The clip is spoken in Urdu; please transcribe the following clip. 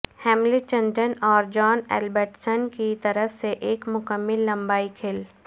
ہیملٹن ڈن اور جان ایل بالڈسنٹن کی طرف سے ایک مکمل لمبائی کھیل